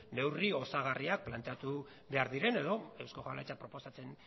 neurri osagarriak planteatu behar diren edo eusko jaurlaritzak proposatzen